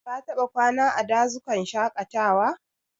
Ka taɓa kwana a dazukan shaƙatawa?